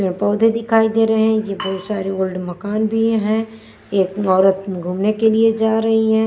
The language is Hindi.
में पौधे दिखाई दे रहे हैं ये बहुत सारे ओल्ड मकान भी हैं एक औरत घूमने के लिए जा रही है।